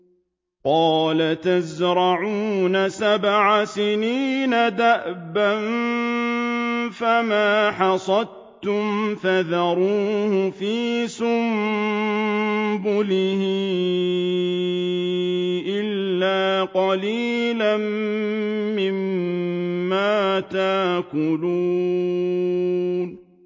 قَالَ تَزْرَعُونَ سَبْعَ سِنِينَ دَأَبًا فَمَا حَصَدتُّمْ فَذَرُوهُ فِي سُنبُلِهِ إِلَّا قَلِيلًا مِّمَّا تَأْكُلُونَ